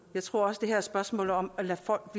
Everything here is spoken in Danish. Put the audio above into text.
jeg tror også det her er et spørgsmål om at lade folk